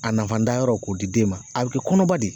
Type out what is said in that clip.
A nafantanyɔrɔ k'o di den ma a bɛ kɛ kɔnɔba ye